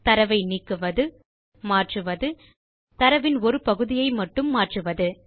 தரவை நீக்குவது மாற்றுவது தரவின் ஒரு பகுதியை மட்டும் மாற்றுவது